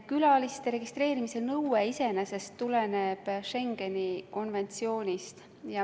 Külaliste registreerimise nõue iseenesest tuleneb Schengeni konventsioonist.